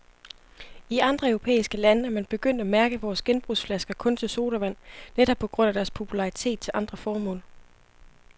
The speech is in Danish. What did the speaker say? I andre europæiske lande er man begyndt at mærke vores genbrugsflasker kun til sodavand, netop på grund af deres popularitet til andre formål.